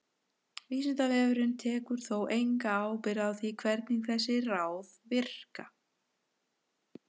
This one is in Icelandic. Vísindavefurinn tekur þó enga ábyrgð á því hvernig þessi ráð virka.